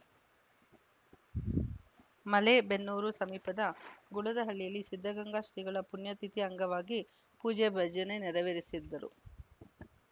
ಮಲೇಬೆನ್ನೂರು ಸಮೀಪದ ಗುಳದಹಳ್ಳಿಯಲ್ಲಿ ಸಿದ್ದಗಂಗಾ ಶ್ರೀಗಳ ಪುಣ್ಯತಿಥಿ ಅಂಗವಾಗಿ ಪೂಜೆ ಭಜನೆ ನೆರವೇರಿಸಿದ್ದ